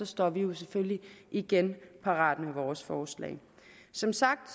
står vi jo selvfølgelig igen parat med vores forslag som sagt